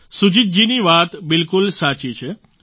સુજીત જીની વાત બિલકુલ સાચી છે